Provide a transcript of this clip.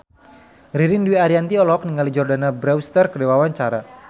Ririn Dwi Ariyanti olohok ningali Jordana Brewster keur diwawancara